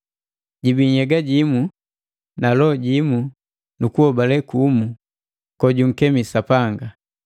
Jibii nhyega jimu na loho jimu na kuhobale kumu kojunkemi Sapanga.